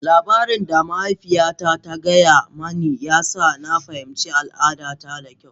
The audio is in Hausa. Labari da mahaifiyata ta gaya mani, ya sa na fahimci al'adata da kyau.